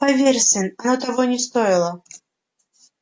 поверь сын оно того не стоило